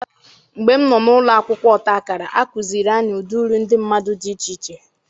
Mgbe m nọ n'ụlọ akwụkwọ ọta akara, a kụziiri anyị ụdị uri ndị mmadụ dị iche iche.